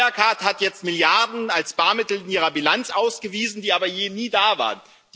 Wirecard hat jetzt Milliarden als Barmittel in ihrer Bilanz ausgewiesen, die aber nie da waren.